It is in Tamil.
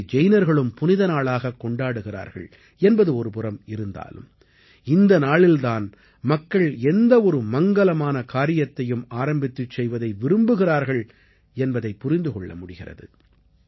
இதை ஜைனர்களும் புனித நாளாகக் கொண்டாடுகிறார்கள் என்பது ஒருபுறம் இருந்தாலும் இந்த நாளில் தான் மக்கள் எந்த ஒரு மங்கலமான காரியத்தையும் ஆரம்பித்துச் செய்வதை விரும்புகிறார்கள் என்பதைப் புரிந்து கொள்ள முடிகிறது